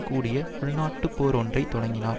கூடிய உள்நாட்டுப் போர் ஒன்றை தொடங்கினார்